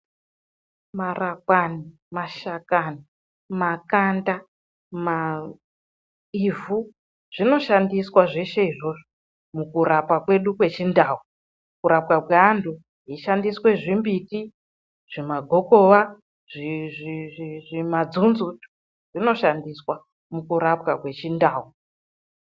Marakwani, mashakani, makanda ivhu, zvinoshandiswa zveshe izvozvo mukurapa kwedu kweChindau. Kurapwa kweantu kuchishandiswa zvimbiti, zvimagokowa, zvimadzonzo zvinoshandiswa mukurapwa kweChindau.